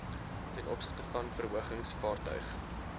tov verhogings vaartuig